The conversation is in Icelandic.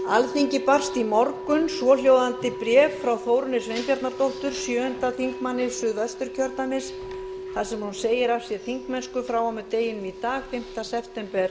alþingi barst í morgun svohljóðandi bréf frá þórunni sveinbjarnardóttur sjöundi þingmaður suðvesturkjördæmis þar sem hún segir af sér þingmennsku frá og með deginum í dag fimmta september